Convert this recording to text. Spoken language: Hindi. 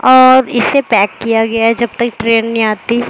और इसे पैक किया गया है जब तक ट्रेन नहीं आती।